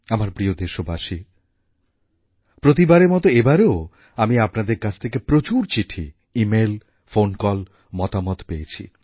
আমার প্রিয় দেশবাসী প্রতিবারের মত এবারেও আমি আপনাদের কাছ থেকে প্রচুর চিঠি ইমেইল ফোন কল ও মতামত পেয়েছি